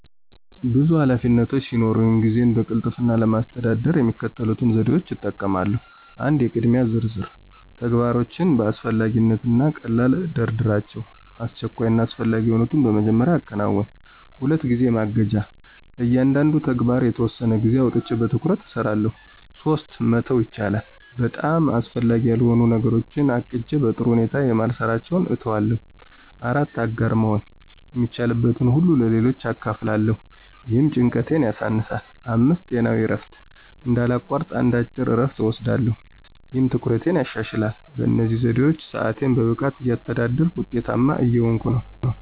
ብዙ ኃላፊነቶች ሲኖሩኝ ጊዜዬን በቅልጥፍና ለማስተዳደር የሚከተሉትን ዘዴዎች እጠቀማለሁ 1. **የቅድሚያ ዝርዝር** - ተግባራቶችን በአስፈላጊነት እና ቀልላ አደራደራቸው፣ አስቸኳይ እና አስፈላጊ የሆኑትን በመጀመሪያ አከናውን። 2. **ጊዜ ማገጃ** - ለእያንዳንዱ ተግባር የተወሰነ ጊዜ አውጥቼ በትኩረት እሰራለሁ። 3. **መተው ይቻላል!** - በጣም አስፈላጊ ያልሆኑ ነገሮችን ለቅጄ በጥሩ ሁኔታ የማልሰራቸውን እተዋለሁ። 4. **አጋር መሆን** - የሚቻልበትን ሁሉ ለሌሎች አካፍላለሁ፣ ይህም ጭንቀቴን ያሳነሳል። 5. **ጤናዊ እረፍት** - እንዳላቋርጥ አንድ አጭር እረፍት እወስዳለሁ፣ ይህም ትኩረቴን ያሻሽላል። በእነዚህ ዘዴዎች ሰአቴን በብቃት እያስተዳደርኩ ውጤታማ እየሆንኩ ነው።